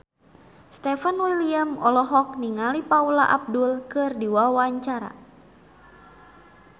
Stefan William olohok ningali Paula Abdul keur diwawancara